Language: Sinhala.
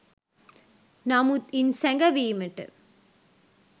නමුත් ඉන් සැඟවීමට